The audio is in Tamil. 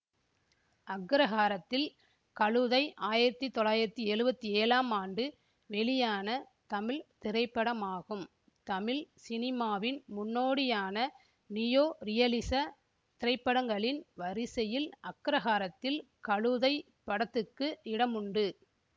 அக்ரஹாரத்தில் கழுதை ஆயிரத்தி தொள்ளாயிரத்தி எழுவத்தி ஏழாம் ஆண்டு வெளியான தமிழ் திரைப்படமாகும் தமிழ் சினிமாவின் முன்னோடியான நியோ ரியலிச திரைப்படங்களின் வரிசையில் அக்ரஹாரத்தில் கழுதை படத்துக்கு இடமுண்டு